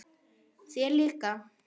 Þér líka?